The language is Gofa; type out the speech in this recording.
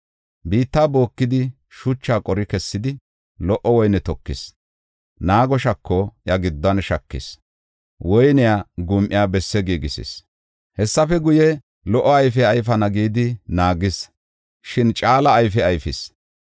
Biitta bookidi, shuchaa qori kessidi, lo77o woyne tokis. Naago shako iya giddon shakis; woyniya gum7iya bessaa giigisis. Hessafe guye, lo77o ayfe ayfana gidi naagis; shin caala ayfe ayfis.